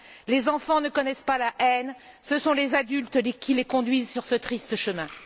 Les enfants ne connaissent pas la haine, ce sont les adultes qui les conduisent sur ce triste chemin.